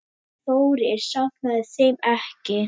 Þórir safnaði þeim ekki.